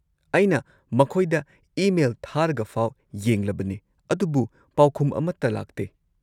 ꯑꯩꯅ ꯃꯈꯣꯏꯗ ꯏꯃꯦꯜ ꯊꯥꯔꯒꯐꯥꯎ ꯌꯦꯡꯂꯕꯅꯦ ꯑꯗꯨꯕꯨ ꯄꯥꯎꯈꯨꯝ ꯑꯃꯠꯇ ꯂꯥꯛꯇꯦ꯫